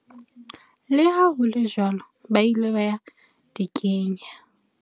Le ha hole jwalo ba ile ba di kenya.